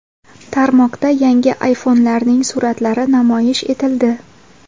Tarmoqda yangi iPhone’larning suratlari namoyish etildi.